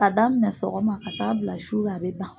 K'a daminɛ sɔgɔma ka taa bila sura a bɛ ban.